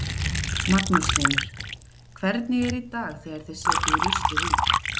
Magnús Hlynur: Hvernig er í dag þegar þið setjið ruslið út?